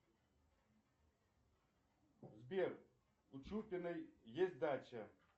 сбер у чупиной есть дача